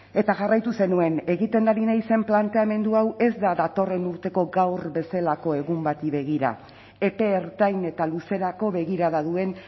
eta jarraitu zenuen egiten ari naizen planteamendu hau ez da datorren urteko gaur bezalako egun bati begira epe ertain eta luzerako begirada duen